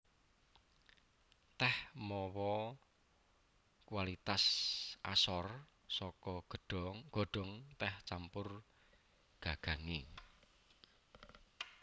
Tèh mawa kualitas asor saka godhong tèh campur gagangé